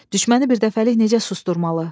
Düşməni birdəfəlik necə susdurmalı?